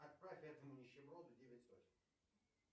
отправь этому нищеброду девять сотен